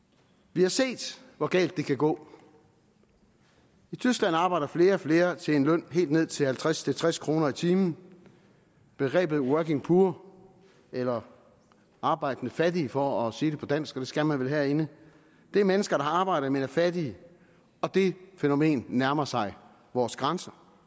vi har set hvor galt det kan gå i tyskland arbejder flere og flere til en løn på helt ned til halvtreds til tres kroner i timen begrebet working poor eller arbejdende fattige for at sige det på dansk og det skal man vel herinde er mennesker arbejde men er fattige og det fænomen nærmer sig vores grænser